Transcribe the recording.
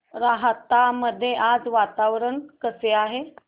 राहता मध्ये आज वातावरण कसे आहे